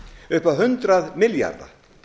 upp á hundrað milljarða